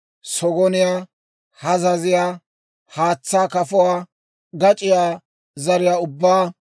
sogoniyaa, Hazaziyaa, haatsaa kafuwaa, gac'iyaa zariyaa ubbaa,